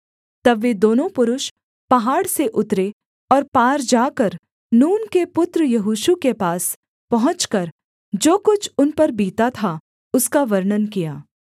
तब वे दोनों पुरुष पहाड़ से उतरे और पार जाकर नून के पुत्र यहोशू के पास पहुँचकर जो कुछ उन पर बीता था उसका वर्णन किया